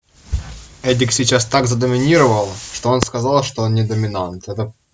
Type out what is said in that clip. эдик сейчас так задоминировал что он сказал что он не доминант это